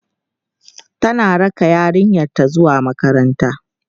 tana raka yaranta zuwa makaranta